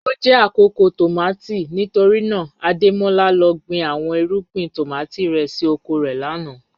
O jẹ akoko tomati nitorina Ademola lọ gbin awọn irugbin tomati rẹ si oko rẹ lana